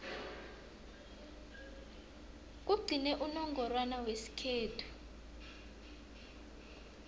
kugcine unongorwana wesikhethu